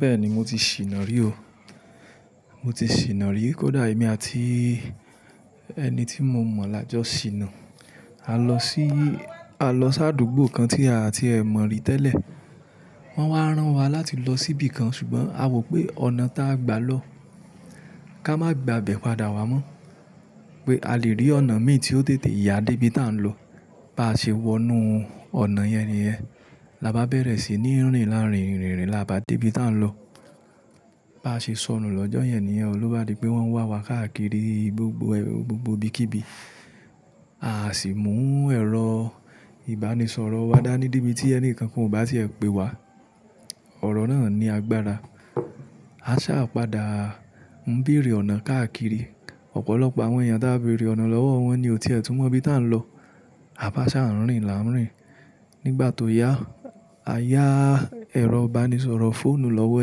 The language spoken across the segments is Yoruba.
Bẹ́ẹ̀ni mo ti ṣìná rí o. Mo ti ṣìná rí, kódà èmi àti ẹni tí mo mọ̀ là jọ ṣìnà. A lọ sí, a lọ sáàdúgbò kan tí àti ẹ̀ mọ̀ rí tẹ́lẹ̀. Wọ́n wá rán wa láti lọ síbí kan ṣùgbọ́n a wò pé ọ̀nà ta a gbà lọ, ká má gbà bẹ̀ padà wá mọ́ pé a lè rí ọ̀nà mí tí ó tètè yà dé ibi tá ń lọ. Bá ṣe wọnú ọ̀nà yẹn nìyẹn. La bá bẹ̀rẹ̀ sí ní rìn láàrín rìn rìn rìn la bá dé ibi tá ń lọ. Bá ṣe sọnù lọ́jọ́ yẹn nìyẹn, loba dì pé wọn wà wá káàkiri gbogbo gbogbo bíkíbi. Aa sì mú ẹ̀rọ ìbánisọ̀rọ̀ wa dá ní debití ẹni kankan ò bá tí ẹ pe wá. Ọ̀rọ̀ náà ni agbára. A sáà padà ń bèrè ọ̀nà káàkiri, ọ̀pọ̀lọpọ̀ àwọn èèyàn tá a béèrè ọ̀nà lọ́wọ́ wọn ní ò ti ẹ̀ tún mọ ibi tá ń lọ. A bá ṣá ń rìn là ń rìn. Nígbà tó yá, a yá ẹ̀rọ ìbánisọ̀rọ̀ fóònù lọ́wọ́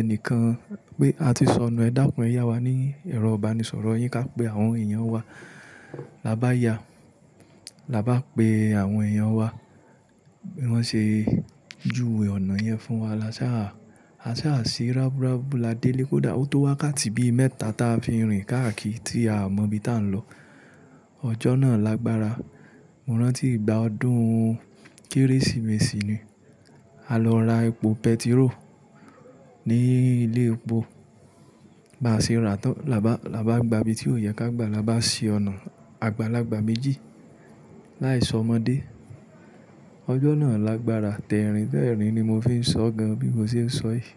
enìkan pé a ti sọnù ẹ dákun ẹ yá wa ní ẹ̀rọ ìbánisọ̀rọ̀ yín ká pè àwọn èèyàn wá. La bá yá, la bá pe àwọn èèyàn wá. Wọn ṣe juwe ọ̀nà yẹn fún wa la sáà, a sáà sí rábú rabú la dé lé kó dà ó tó wákáàtì bí i mẹ́ta ta fi ń rìn káàkiri tí a mọ̀ ibi tá ń lọ. Ọjọ́ náà lágbára. Mo rántí ìgbà ọdún kérésìmesì ni. A lọ ra epo pẹtiró ní ilé epo. Bá ṣe rà á tán, la bá, la bá gba ibi tí ó yẹ ká gbà, la bá si ọ̀nà àgbàlagbà méjì. Láì sọ ọmọdé. Ọjọ́ náà lágbára. Tẹ́rìn-tẹ́rìn ni mo fi ń sọ gan bí mo ṣe ń sọ yìí.